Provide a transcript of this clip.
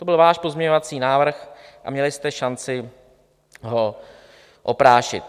To byl váš pozměňovací návrh a měli jste šanci ho oprášit.